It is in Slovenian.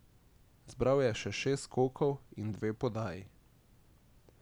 Zbral je še šest skokov in dve podaji.